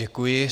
Děkuji.